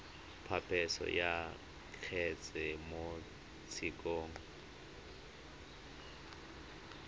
phaposo ya kgetse mo tshekong